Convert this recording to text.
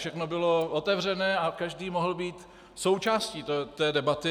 Všechno bylo otevřené a každý mohl být součástí té debaty.